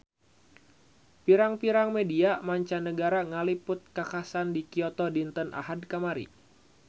Pirang-pirang media mancanagara ngaliput kakhasan di Kyoto dinten Ahad kamari